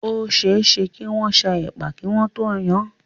Ó ṣe é ṣe kí wọ́n sá ẹ̀pà kí wọ́n tó yan án.